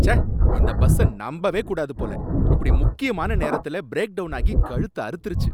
ச்ச! இந்த பஸ்ஸ நம்பவே கூடாது போல, இப்படி முக்கியமான நேரத்துல பிரேக் டவுன் ஆகி கழுத்த அறுத்திருச்சு.